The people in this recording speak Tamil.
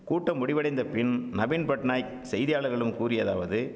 கூட்டம் முடிவடைந்தப்பின் நவீன்பட்நாயக் செய்தியாளர்களும் கூறியதாவது